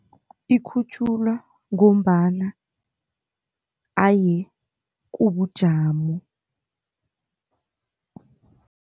Ikhutjhulwa ngombana haye kubujamo.